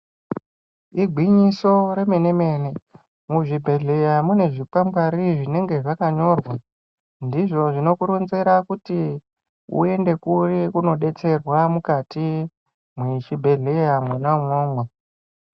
Igwinyiso remene-mene Muzvibhedhlera mune zvingwari zvinenge zvakanyorwa .Ndizvo zvinokuronzera kuti uyende kuri koodetsera mukati wechibhedhleya mwona umwomwo.